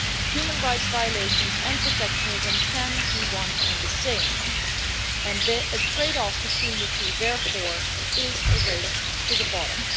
Human rights violations and protectionism can be one and the same, and a trade off between the two is, therefore, a race to the bottom.